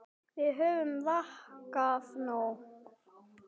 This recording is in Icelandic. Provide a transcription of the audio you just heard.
Við höfum vakað nóg.